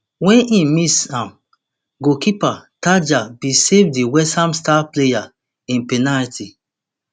wey im miss am goalkeeper tandja bin save di westham star player im penalty